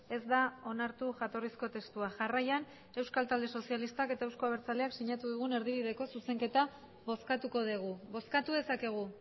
ez da onartu jatorrizko testua jarraian euskal talde sozialistak eta euzko abertzaleak sinatu dugun erdibideko zuzenketa bozkatuko dugu bozkatu dezakegu